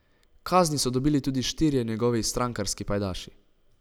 Kazni so dobili tudi štirje njegovi strankarski pajdaši.